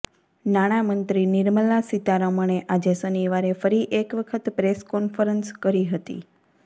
નાણામંત્રી નિર્મલા સીતારમણે આજે શનિવારે ફરી એક વખત પ્રેસ કોન્ફરન્સ કરી હતી